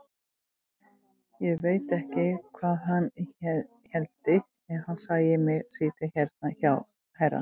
Ég veit ekki hvað hann héldi ef hann sæi mig sitja hérna hjá herra!